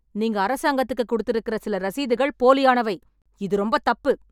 நீங்க அரசாங்கத்துக்குக் கொடுத்திருக்கிற சில ரசீதுகள் போலியானவை. இது ரொம்பத் தப்பு.